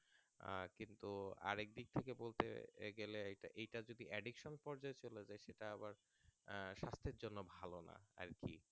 আহ কিন্তু আরেকদিক থেকে বলতে গেলে এইটা এটা যদি Addiction পর্যায় চলে যায় সেটা আবার আহ স্বাস্থ্যের জন্য ভালো না আরকি